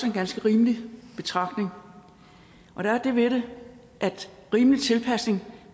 en ganske rimelig betragtning og der er det ved det at rimelig tilpasning